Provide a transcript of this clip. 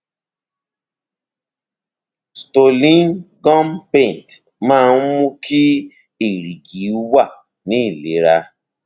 stolin gum paint máa ń mú kí èrìgì wà ní ìlera